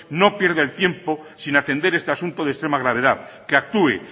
no pierda el tiempo sin atender este asunto de extrema gravedad que actúe